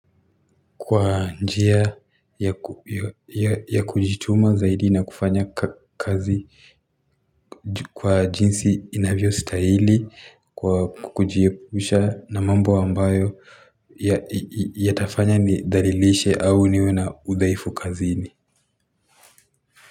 Kwa njia ya kujituma zaidi na kufanya kazi kwa jinsi inavyo stahili kwa kujiepusha na mambo ambayo ya tafanya ni dhalilishe au niwe na udhaifu kazi ini.